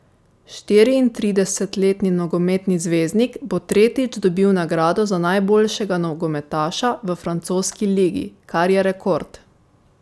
Štiriintridesetletni nogometni zvezdnik bo tretjič dobil nagrado za najboljšega nogometaša v francoski ligi, kar je rekord.